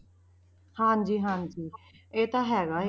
ਹਾਂਜੀ ਹਾਂਜੀ ਇਹ ਤਾਂ ਹੈਗਾ ਹੈ।